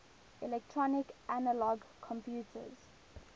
electronic analog computers